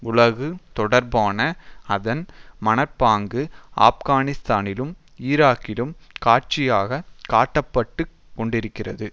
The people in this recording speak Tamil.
உலகு தொடர்பான அதன் மனப்பாங்கு ஆப்கானிஸ்தானிலும் ஈராக்கிலும் காட்சியாகக் காட்டப்பட்டுக் கொண்டிருக்கிறது